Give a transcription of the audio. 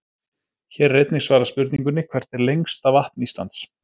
Hér er einnig svarað spurningunni: Hvert er lengsta vatn Íslands?